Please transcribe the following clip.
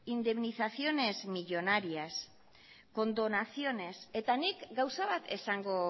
indemnizaciones millónarias condonaciones eta nik gauza bat esango